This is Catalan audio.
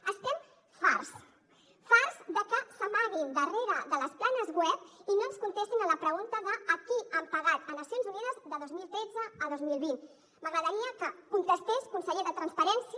n’estem farts farts de que s’amaguin darrere de les planes web i no ens contestin a la pregunta de a qui han pagat a nacions unides de dos mil tretze a dos mil vint m’agradaria que contestés conseller de transparència